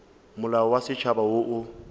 molao wa setšhaba wo o